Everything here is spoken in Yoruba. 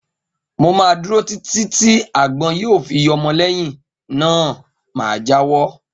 Mo má dúró Títí tí àgbọn yíò fi yọmọ lẹyìn náà ma jáwọ́